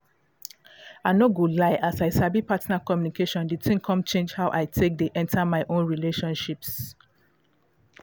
i no go lie as i sabi partner communication the thing come change how i take dey enter my own relationships